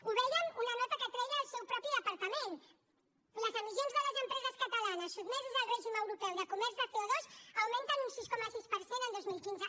ho vèiem en una nota que treia el seu propi departament les emissions de les empreses catalanes sotmeses al règim europeu de comerç de co6 coma sis per cent el dos mil quinze